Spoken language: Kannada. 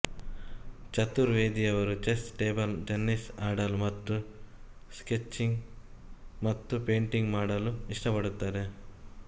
ಚತುರ್ವೇದಿ ಅವರು ಚೆಸ್ ಟೇಬಲ್ ಟೆನಿಸ್ ಆಡಲು ಮತ್ತು ಸ್ಕೆಚಿಂಗ್ ಮತ್ತು ಪೇಂಟಿಂಗ್ ಮಾಡಲು ಇಷ್ಟಪಡುತ್ತಾರೆ